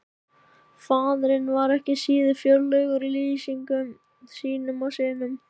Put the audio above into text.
Faðirinn var ekki síður fjörlegur í lýsingum sínum á syninum.